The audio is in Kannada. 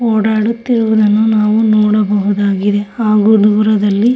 ಓಡಾಡುತ್ತಿರುವುದನ್ನು ನಾವು ನೋಡಬಹುದಾಗಿದೆ. ಹಾಗು ದೂರದಲ್ಲಿ--